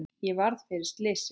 Ég varð fyrir slysi,